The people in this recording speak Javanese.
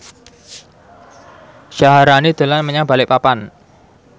Syaharani dolan menyang Balikpapan